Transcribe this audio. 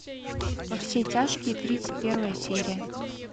во все тяжкие тридцать первая серия